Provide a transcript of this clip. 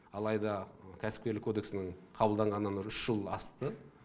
алайда кәсіпкерлік кодексінің қабылданғанына үш жыл асты